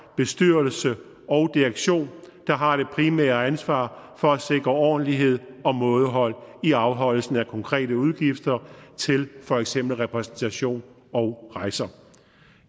bestyrelse og direktion der har det primære ansvar for at sikre ordentlighed og mådehold i afholdelsen af konkrete udgifter til for eksempel repræsentation og rejser